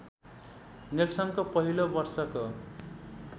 नेल्सनको पहिलो वर्षको